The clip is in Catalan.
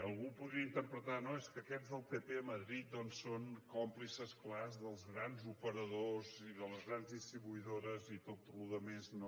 algú podria interpretar no és que aquests del pp a madrid doncs són còmplices clars dels grans operadors i de les grans distribuïdores i tota la resta no